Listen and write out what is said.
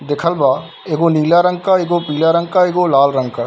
देखल बा एगो नीला रंग का एगो पीला रंग का एगो लाल रंग का |